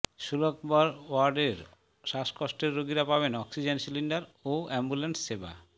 শুলকবহর ওয়ার্ডের শ্বাসকষ্টের রোগীরা পাবেন অক্সিজেন সিলিন্ডার ও অ্যাম্বুল্যান্স সেবা